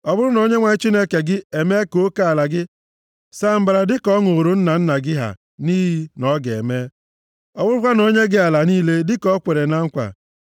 Ọ bụrụ na Onyenwe anyị Chineke gị emee ka oke ala gị saa mbara dịka ọ ṅụụrụ nna nna gị ha nʼiyi na ọ ga-eme, ọ bụrụkwa na o nye gị ala niile dịka o kwere na nkwa,